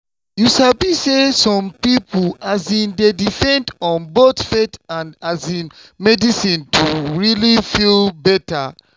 you sabi say some people um dey depend on both faith and um medicine to really feel better.